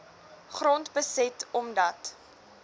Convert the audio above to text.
grond beset omdat